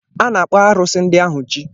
A na-akpọ arusi ndị ahụ "chi"